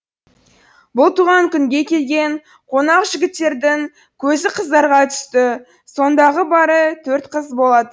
бұл туған күнге келген қонақ жігіттердің көзі қыздарға түсті сондағы бары төрт қыз бола